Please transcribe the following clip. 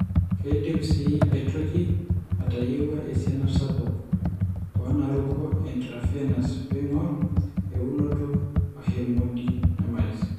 Keidim sii aitoki aatayiewua esiana sapuk oonaaruko eintravenous peing'or eunoto ehemodynamice.